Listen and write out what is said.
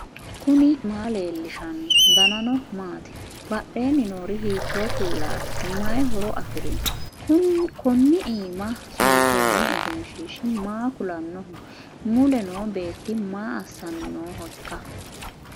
knuni maa leellishanno ? danano maati ? badheenni noori hiitto kuulaati ? mayi horo afirino ? kuni iima suntoonni egenshshiishi maa kulannoho mule noo beeti maa assanni noohoikka